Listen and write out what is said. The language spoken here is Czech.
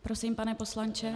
Prosím, pane poslanče.